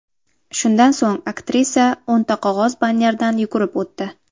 Shundan so‘ng aktrisa o‘nta qog‘oz bannerdan yugurib o‘tdi.